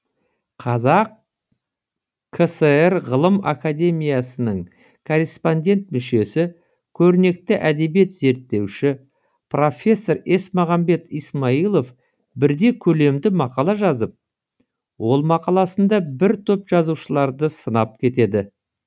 қазақ кср ғылым академиясының корреспондент мүшесі көрнекті әдебиет зерттеуші профессор есмағамбет исмайылов бірде көлемді мақала жазып ол мақаласында бір топ жазушыларды сынап кетеді